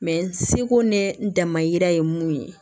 Mɛ seko ne damayira ye mun ye